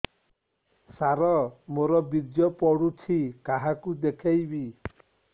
ସାର ମୋର ବୀର୍ଯ୍ୟ ପଢ଼ୁଛି କାହାକୁ ଦେଖେଇବି